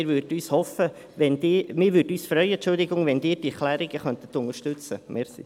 Wir würden uns freuen, wenn Sie diese Planungserklärungen unterstützen würden.